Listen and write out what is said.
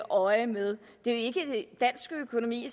øje med det er ikke dansk økonomi